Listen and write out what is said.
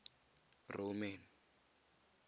roman